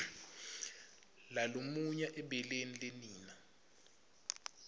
lalumunya ebeleni lenina